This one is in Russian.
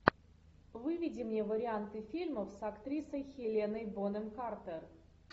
выведи мне варианты фильмов с актрисой хеленой бонем картер